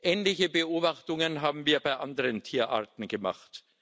Ähnliche Beobachtungen haben wir bei anderen Tierarten gemacht.